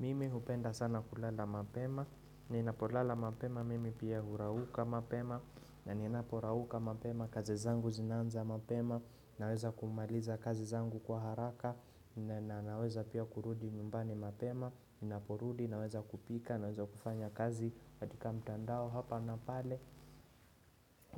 Mimi hupenda sana kulala mapema, ninapolala mapema, mimi pia hurauka mapema, na ninaporauka mapema, kazi zangu zinaanza mapema, naweza kumaliza kazi zangu kwa haraka, na naweza pia kurudi nyumbani mapema, ninaporudi, naweza kupika, naweza kufanya kazi katika mtandao hapa na pale.